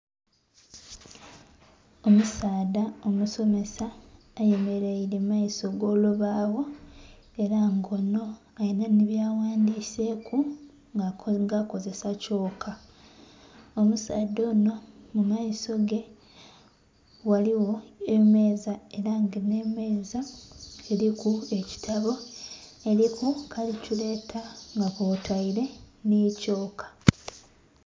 Omusaadha omusomesa ayemeleile mu maiso g'olubaawo ela nga onho alina nhi byaghandiseeku nga akozesa kyooka. Omusaadha onho mu maiso ge ghaligho emeeza ela nga nh'emeeza eliku ekitabo, eliku kalikyuleta, nga kwotaile nhi kyooka.